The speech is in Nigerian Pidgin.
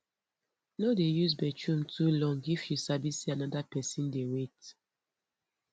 no dey use bathroom too long if you sabi say another pesin dey wait